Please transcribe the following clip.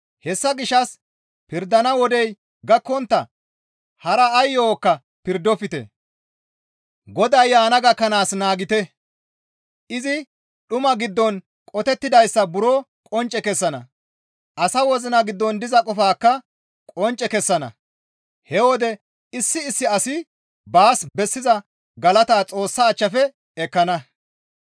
Hessa gishshas pirdana wodey gakkontta haara ay yo7okka pirdofte; Goday yaana gakkanaas naagite; izi dhuma giddon qotettidayssa buro qoncce kessana. Asa wozina giddon diza qofaakka qoncce kessana; he wode issi issi asi baas bessiza galata Xoossa achchafe ekkana.